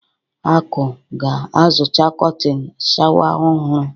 Akụ ga-azụta kọtịn sháwà ọhụrụ.